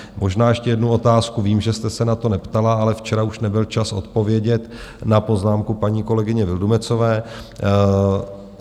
Možná ještě jednu otázku - vím, že jste se na to neptala, ale včera už nebyl čas odpovědět na poznámku paní kolegyně Vildumetzové.